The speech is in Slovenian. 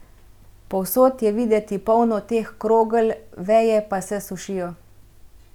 Povsod je videti polno teh krogel, veje pa se sušijo.